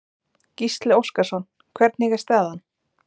Gísli Óskarsson: Hvernig er staðan?